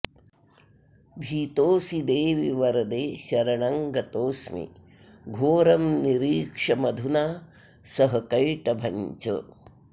भीतोऽस्मि देवि वरदे शरणं गतोऽस्मि घोरं निरीक्ष्य मधुना सह कैटभं च